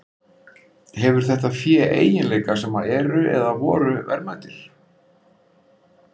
Hefur þetta fé eiginleika sem eru, eða voru, verðmætir?